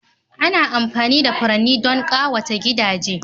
Ana amfani da furanni don ƙawata gidaje